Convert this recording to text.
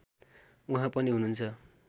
उहाँ पनि हुनुहुन्छ